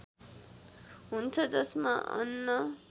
हुन्छ जसमा अन्न